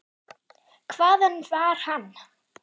Hvaðan var hann?